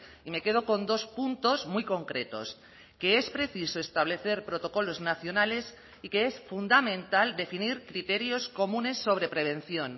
y me quedo con dos puntos muy concretos que es preciso establecer protocolos nacionales y que es fundamental definir criterios comunes sobre prevención